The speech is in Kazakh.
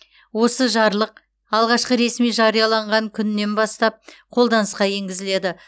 осы жарлық алғашқы ресми жарияланған күнінен бастап қолданысқа енгізіледі